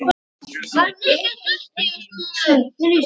Tveir niður.